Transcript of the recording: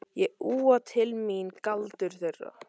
Ég úa til mín galdur þeirra.